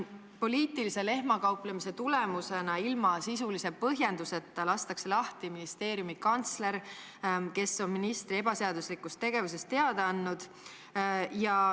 Poliitilise lehmakauplemise tulemusena, ilma sisulise põhjenduseta, lastakse lahti ministeeriumi kantsler, kes on ministri ebaseaduslikust tegevusest teada andnud.